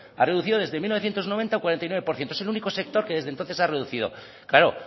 ha reducido desde mil novecientos noventa un cuarenta y nueve por ciento es el único sector que desde entonces ha reducido claro